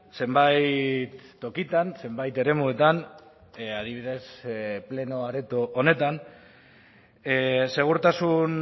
zenbait tokitan zenbait eremuetan adibidez pleno areto honetan segurtasun